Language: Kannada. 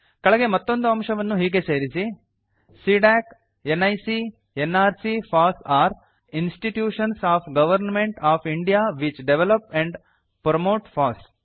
ಕೆಳಗೆ ಮತ್ತೊಂದು ಅಂಶವನ್ನು ಹೀಗೆ ಸೇರಿಸಿ CDAC NIC nrc FOSS are institutions of government of India which develop and promote FOSS